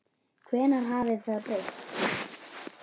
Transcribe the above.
Hvenær hafði það breyst?